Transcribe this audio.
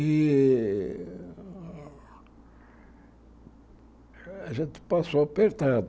E a gente passou apertado.